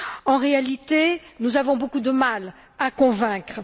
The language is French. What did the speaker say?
En réalité, nous avons beaucoup de mal à convaincre.